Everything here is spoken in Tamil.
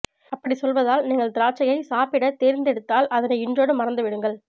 அப்பிடி சொல்வதால் நீங்கள் திராட்சையை சாப்பிட தேர்ந்து எடுத்தால் அதனை இன்றோடு மறந்துவிடுங்கள்